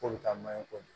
K'o bɛ taa manɲɔ ko